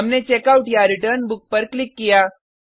हमने checkoutरिटर्न बुक पर क्लिक किया